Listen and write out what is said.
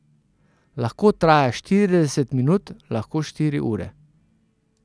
Lahko traja štirideset minut, lahko štiri ure.